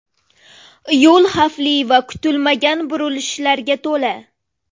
Yo‘l xavfli va kutilmagan burilishlarga to‘la.